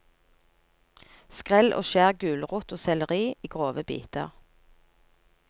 Skrell og skjær gulrot og selleri i grove biter.